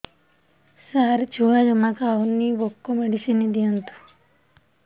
ସାର ଛୁଆ ଜମା ଖାଉନି ଭୋକ ମେଡିସିନ ଦିଅନ୍ତୁ